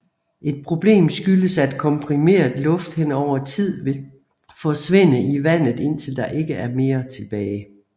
Et problem skyldes at komprimeret luft henover tid vil forsvinde i vandet indtil der ikke er mere tilbage